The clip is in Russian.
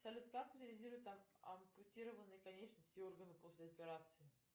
салют как утилизируют ампутированные конечности и органы после операции